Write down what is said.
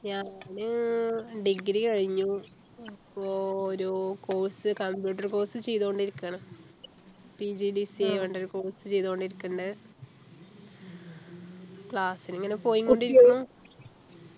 ഞാന് Degree കഴിഞ്ഞു പ്പോ ഒരു course Computer course ചെയ്തുകൊണ്ടിരിക്കുകയാണ് PGDCA പറഞ്ഞിട്ടൊരു course ചെയ്തുകൊണ്ടിരിക്കണ്ട് ക്ലാസിനു ഇങ്ങനെ പോയിക്കൊണ്ടിരിക്കുന്നു